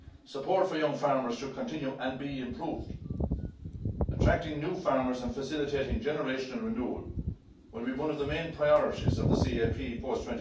Support for young farmers should continue and be improved. Attracting new farmers and facilitating generational renewal will be one of the main priorities of the CAP